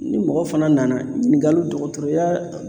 Ni mɔgɔ fana nana ɲininkali dɔgɔtɔrɔya